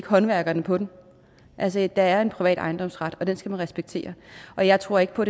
håndværkerne på den altså der er en privat ejendomsret og den skal man respektere og jeg tror ikke på